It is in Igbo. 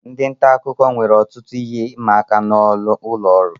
Ndị nta akụkọ nwere ọtụtụ ihe ịma aka n'ụlọ oru